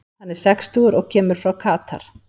Hann er sextugur og kemur frá Katar.